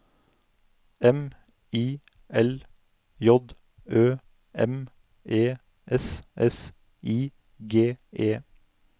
M I L J Ø M E S S I G E